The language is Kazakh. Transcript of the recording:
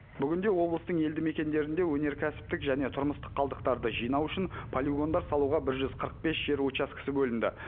бүгінде облыстың елді мекендерінде өнеркәсіптік және тұрмыстық қалдықтарды жинау үшін полигондар салуға бір жүз қырық бес жер учаскесі бөлінді